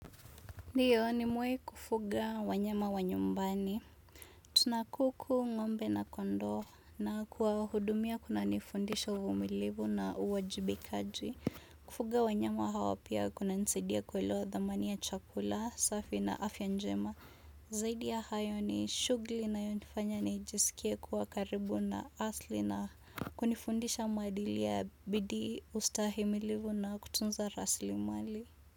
Ndiyo nimewahi kufuga wanyama wanyumbani. Tuna kuku ng'ombe na kondoo na kuwa hudumia kuna nifundisha uvumilivu na uwajibikaji. Kufuga wanyama hawa pia kuna nisaidia kuelewa thamani ya chakula, safi na afya njema. Zaidi ya hayo ni shuguli inayonifanya nijisikie kuwa karibu na asili na kunifundisha maadili ya bidii ustahimilivu na kutunza rasilimali.